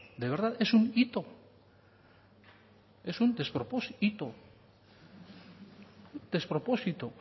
de verdad es un hito es un despropósito